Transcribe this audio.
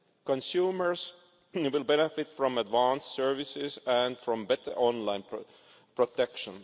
Consumers will benefit from advanced services and from better online protection.